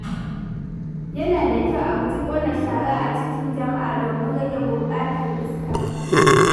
Yana da kyau a guji ƙona shara a cikin jama'a domin rage gurbatar iska.